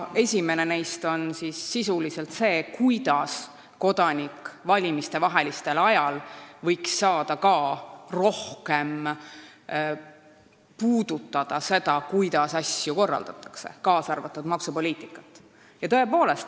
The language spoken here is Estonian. Esimene neist on sisuliselt see, kuidas saaks kodanik valimistevahelisel ajal rohkem osaleda selles, kuidas asju korraldatakse, kaasa arvatud maksupoliitikas.